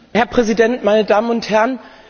Herr Präsident, meine Damen und Herren!